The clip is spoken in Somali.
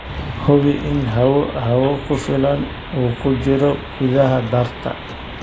Hubi in hawo hawo ku filan uu ku jiro gudaha daarta.